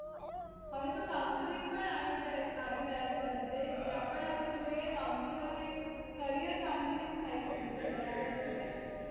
હવે તો counselling પણ આવી જાય આવી ગયા છે બધે. જ્યાં પણ આપણે જોઈએ counseller એક career counselling થાય છે બધે બરાબર રીતે.